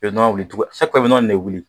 I bɛ nɔnɔ wuli tugun i bɛ nɔnɔ in de wuli